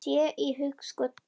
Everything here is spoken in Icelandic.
Sé í hugskot þitt.